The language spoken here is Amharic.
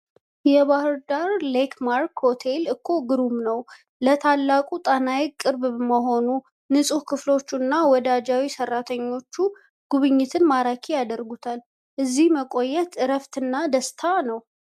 የባህር ዳር ሌክማርክ ሆቴል እኮ ግሩም ነው! ለታላቁ ጣና ሐይቅ ቅርብ መሆኑ፣ ንጹህ ክፍሎቹ እና ወዳጃዊ ሰራተኞቹ ጉብኝትን ማራኪ ያደርጉታል! እዚያ መቆየት እረፍት እና ደስታ ነው!